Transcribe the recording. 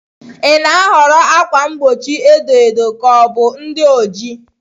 Ị na-ahọrọ ákwà mgbochi edo edo ka ọ bụ ndị ojii?